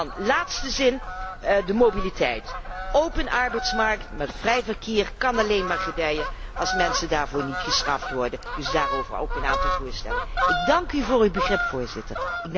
En ten laatste de mobiliteit. Een open arbeidsmarkt met vrij verkeer kan alleen maar gedijen als mensen daarvoor niet gestraft worden, dus daarover ook een aantal voorstellen. Ik dank u voor uw begrip, Voorzitter.